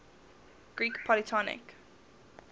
greek polytonic